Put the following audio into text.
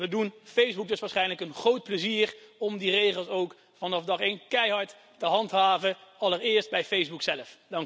We doen Facebook dus waarschijnlijk een groot plezier om die regels ook vanaf dag één keihard te handhaven, allereerst bij Facebook zelf.